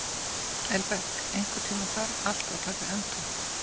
Elberg, einhvern tímann þarf allt að taka enda.